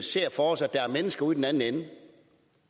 ser for os at der er mennesker ude i den anden ende